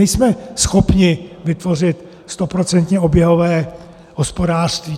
Nejsme schopni vytvořit stoprocentně oběhové hospodářství.